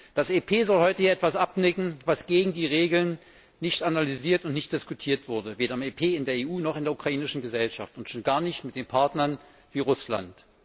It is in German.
Das EP soll heute hier etwas abnicken, was gegen die Regeln nicht analysiert und nicht diskutiert wurde, weder im EP, in der EU, noch in der ukrainischen Gesellschaft und schon gar nicht mit den Partnern wie Russland.